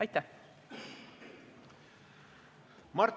Aitäh!